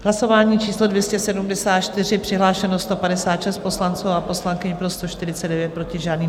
Hlasování číslo 274, přihlášeno 156 poslanců a poslankyň, pro 149, proti žádný.